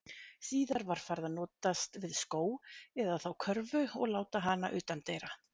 Síðar var farið að notast við skó, eða þá körfu og láta hana utandyra.